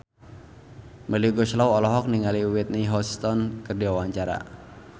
Melly Goeslaw olohok ningali Whitney Houston keur diwawancara